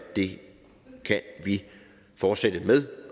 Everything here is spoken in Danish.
vi kan fortsætte med